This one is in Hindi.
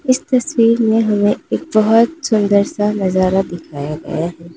इस तस्वीर में हमें एक बहुत सुंदर सा नजारा दिखाया गया है।